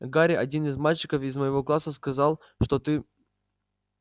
гарри один мальчик из моего класса сказал что ты